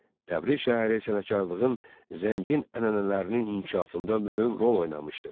Təbriz şəhəri sənətkarlığın zəngin ənənələrinin inkişafında mühüm rol oynamışdır.